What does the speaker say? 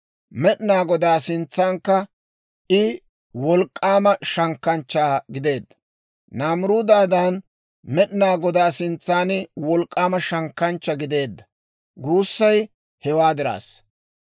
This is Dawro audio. Med'inaa Godaa sintsankka I wolk'k'aama shankkanchcha gideedda; «Naamiruudadan Med'inaa Godaa sintsan wolk'k'aama shankkanchcha gideedda» guussay hewaa diraassa.